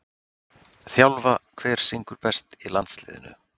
þjálfa Hver syngur best í landsliðinu?